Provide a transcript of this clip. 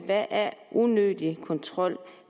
hvad er unødig kontrol